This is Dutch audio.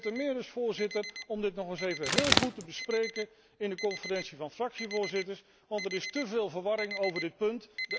Een reden temeer, Voorzitter, om dit nog eens goed te bespreken in de Conferentie van fractievoorzitters, want er is te veel verwarring over dit punt.